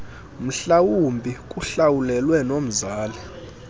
mhlawumbi kuhlawulelwe nomzali